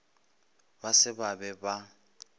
ba se ba be ba